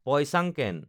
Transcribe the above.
Poi Sangken